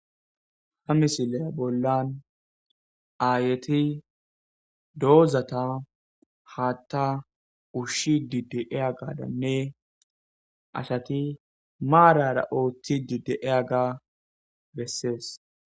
ha misileya bollan aayeti doozata haatta ushshi didi ea gadanne asati maarara ooththi dide eyaga bessees